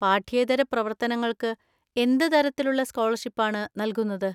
പാഠ്യേതര പ്രവർത്തനങ്ങൾക്ക് എന്ത് തരത്തിലുള്ള സ്കോളർഷിപ്പാണ് നൽകുന്നത്?